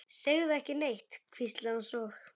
Segðu ekki neitt, hvíslaði hún svo.